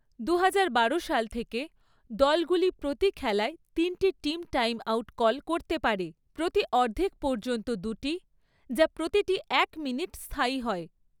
দুহাজার বারো সাল থেকে, দলগুলি প্রতি খেলায় তিনটি টিম টাইমআউট কল করতে পারে, প্রতি অর্ধেক পর্যন্ত দুটি, যা প্রতিটি এক মিনিট স্থায়ী হয়।